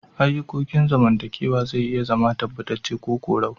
Ayukokin zamantakewa zai iya zama tabbatace ko korau.